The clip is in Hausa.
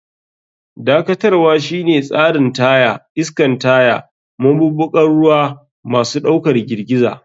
Dakatarwa shine tsarin taya, iskan taya, maɓuɓɓugan ruwa, masu ɗaukar girgiza.